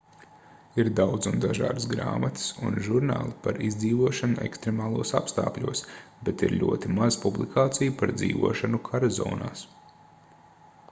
ir daudz un dažādas grāmatas un žurnāli par izdzīvošanu ekstremālos apstākļos bet ir ļoti maz publikāciju par dzīvošanu kara zonās